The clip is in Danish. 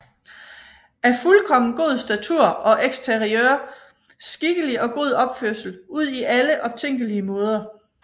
Af fuldkommen god Statur og Exterieur Skikkelig og god Opførsel udi alle optænkelige Maader